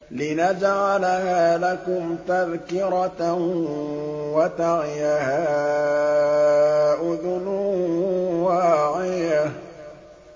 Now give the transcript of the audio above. لِنَجْعَلَهَا لَكُمْ تَذْكِرَةً وَتَعِيَهَا أُذُنٌ وَاعِيَةٌ